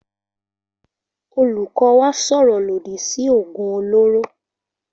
Olùkọ́ wa sọ̀rọ̀ lòdì sí òògùn olóró